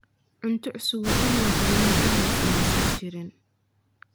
Cunto cusub waa in la hubiyaa inaysan wasakh jirin.